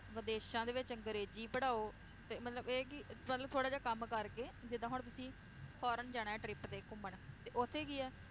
ਵਿਦੇਸ਼ਾਂ ਦੇ ਵਿਚ ਅੰਗਰੇਜ਼ੀ ਪੜ੍ਹਾਓ ਤੇ ਮਤਲਬ ਇਹ ਕਿ ਮਤਲਬ ਥੋੜਾ ਜਿਹਾ ਕੰਮ ਕਰਕੇ ਜਿਦਾਂ ਹੁਣ ਤੁਸੀਂ foreign ਜਾਣਾ ਆ trip ਤੇ ਘੁੰਮਣ, ਤੇ ਓਥੇ ਕੀ ਏ